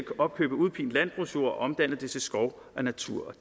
opkøbe udpint landbrugsjord og omdanne det til skov og natur